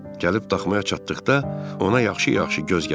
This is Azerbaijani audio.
Gəlib daxmaya çatdıqda ona yaxşı-yaxşı göz gəzdirdik.